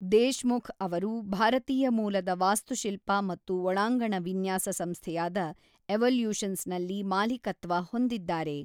ದೇಶ್‌ಮುಖ್‌ ಅವರು ಭಾರತೀಯ ಮೂಲದ ವಾಸ್ತುಶಿಲ್ಪ ಮತ್ತು ಒಳಾಂಗಣ ವಿನ್ಯಾಸ ಸಂಸ್ಥೆಯಾದ ಎವಲ್ಯೂಷನ್ಸ್‌ನಲ್ಲಿ ಮಾಲೀಕತ್ವ ಹೊಂದಿದ್ದಾರೆ.